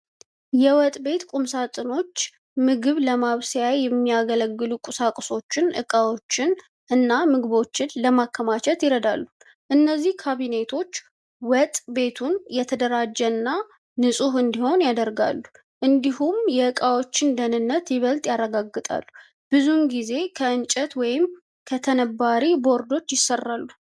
የወጥ ቤት ቁምሳጥኖች ምግብ ለማብሰያ የሚያገለግሉ ቁሳቁሶችን፣ ዕቃዎችን እና ምግቦችን ለማከማቸት ይረዳሉ። እነዚህ ካቢኔቶች ወጥ ቤቱን የተደራጀና ንፁህ እንዲሆን ያደርጋሉ፣ እንዲሁም የእቃዎችን ደህንነት ይበልጥ ያረጋግጣሉ። ብዙ ጊዜ ከእንጨት ወይም ከተነባሪ ቦርዶች ይሠራሉ።